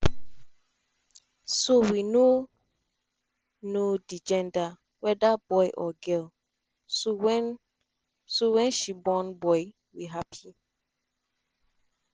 so we no know di gender weda boy or girl so wen so wen she born boy we happy